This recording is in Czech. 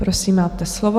Prosím, máte slovo.